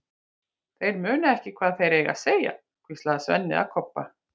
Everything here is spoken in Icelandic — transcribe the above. Þeir muna ekki hvað þeir eiga að segja, hvíslaði Svenni að Kobba.